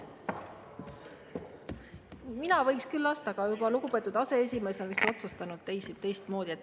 Mina võiks küll lasta, aga lugupeetud aseesimees on vist otsustanud teistmoodi.